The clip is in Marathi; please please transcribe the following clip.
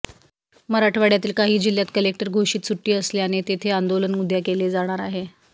मराठवाड्यातील काही जिल्हयात कलेक्टर घोषित सुटी असल्याने तेथे आंदोलन उद्या केले जाणार आहे